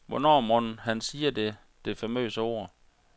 Hvornår mon han siger det, det famøse ord.